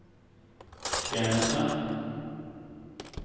tjeneste